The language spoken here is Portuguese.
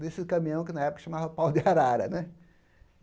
desse caminhão que na época chamava Pau de Arara né.